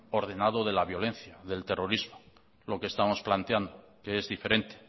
ordenado de la violencia del terrorismo lo que estamos planteando que es diferente